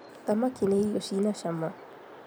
thamaki nĩ irio cina cama